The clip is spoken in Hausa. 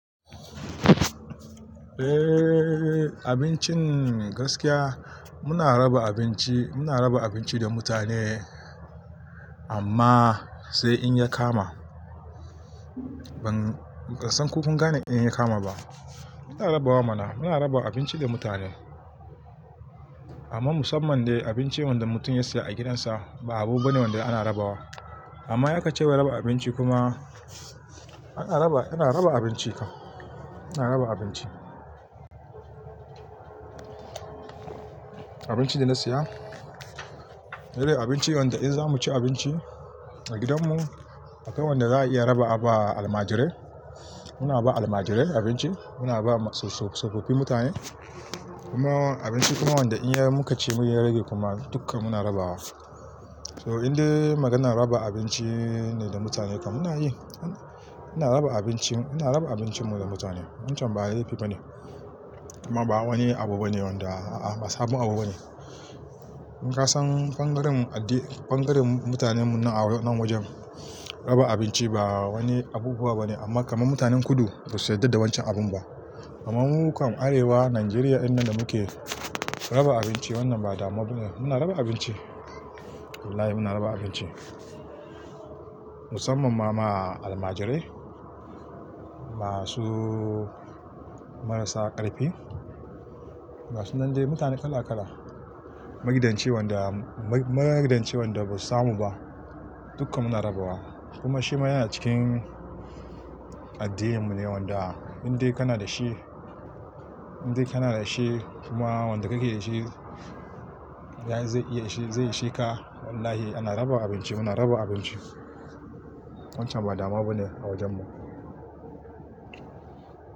Eh, abincin gaskiya muna raba abinci, muna raba abinci da mutane amma sai in ya kama. Ban, ban san ko kun gane in ya kama ba. Muna rabawa mana, muna raba abinci da mutane. Amma musamman dai abincin wanda mutum ya siya a gidansa ba abu bane wanda ana rabawa. Amma in aka ce wai raba abinci kuma ana raba, ana raba abinci ka, ana raba abinci. Abincin da na siya, Se dai abinci wanda in za mu ci abinci a gidanmu akwai wanda za a iya raba a ba almajirai. Muna ba almajirai abinci, muna ba maso-so-sofofi mutane kuma abinci kuma wanda in ya muka ci mun ya rage kuma duka muna rabawa. So indai maganar raba abinci ne da mutane kan muna yi. Ana raba abincin, ana raba abincin mu da mutane. Wancan ba laifi bane. Kuma ba wani abu bane wanda a'a ba sabon abu bane. In ka san bangaren addi, bangaren mutanen mu nan a wannan wajen raba abinci ba wani abubuwa bane amma kamar mutanen kudu ba su yarda da wancan abun ba. Amma mu kan Arewa, Najeriya dinnan da muke, raba abinci wannan ba damuwa bane. Muna raba abinci. Wallahi muna raba abinci. Musamman ma almajirai, masu marasa ƙarfi, Gasu nan dai mutane kala kala, magidanci wanda magidanci wanda ba su samu ba duka muna rabawa. Kuma shima yana cikin addinin mu ne wanda indai kana da shi, indai kana da shi kuma wanda kake iya shi, zai iya shi zai ishe ka. Wallahi ana raba abinci, muna raba abinci. Wancan ba damuwa bane a wajen mu.